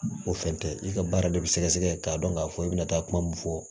O fɛn tɛ i ka baara de bɛ sɛgɛsɛgɛ k'a dɔn k'a fɔ i bɛna taa kuma min fɔ